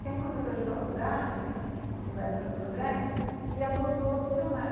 Tem um professor de faculdade, uma faculdade de Santo André, que adotou o dicionário.